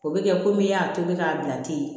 O bɛ kɛ komi i y'a tobi k'a bila ten